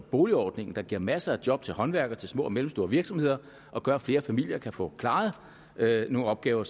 boligjobordningen der giver masser af job til håndværkere og mellemstore virksomheder og gør at flere familier kan få klaret nogle opgaver